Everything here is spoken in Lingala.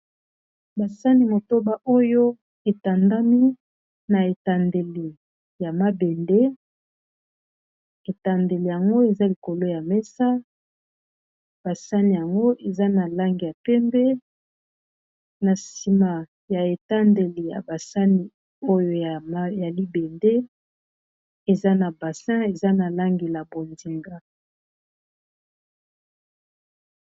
Basani motoba oyo etandami na etandeli ya mabende etandeli yango eza likolo ya mesa basani yango eza na lange ya pembe na nsima ya etandeli ya basani oyo ya libende eza na basin eza na langi ya bondinga.